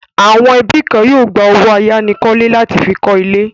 Àwọn ẹbí kan yóò gba owó àyánikọ́lé láti fi kọ́ ilé.